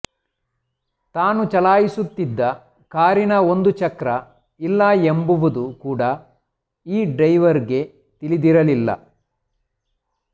ತಾನು ಚಲಾಯಿಸುತ್ತಿದ್ದ ಕಾರಿನ ಒಂದು ಚಕ್ರ ಇಲ್ಲ ಎಂಬುವುದೂ ಕೂಡಾ ಈ ಡ್ರೈವರ್ಗೆ ತಿಳಿದಿರಲಿಲ್ಲ